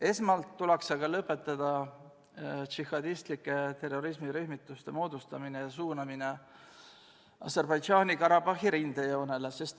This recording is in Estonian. Esmalt tuleks aga lõpetada džihadistlike terrorirühmituste moodustamine ja suunamine Aserbaidžaani-Karabahhi rindejoonele.